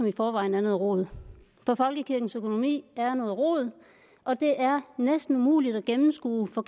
i forvejen er noget rod for folkekirkens økonomi er noget rod og det er næsten umuligt at gennemskue for